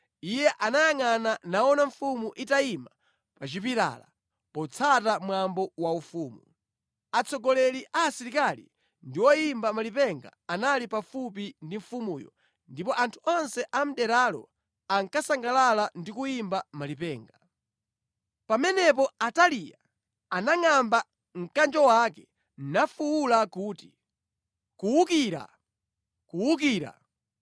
Iye anayangʼana naona mfumu itayima pa chipilala, potsata mwambo waufumu. Atsogoleri a asilikali ndi oyimba malipenga anali pafupi ndi mfumuyo, ndipo anthu onse a mʼderalo ankasangalala ndi kuyimba malipenga. Pamenepo Ataliya anangʼamba mkanjo wake nafuwula kuti, “Kuwukira! Kuwukira!”